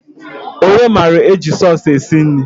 Onye mara eji sọs esi nri?